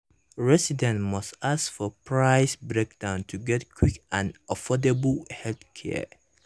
residents must ask for price breakdown to get quick and affordable healthcare.